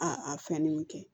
A a fɛn ninnu kɛ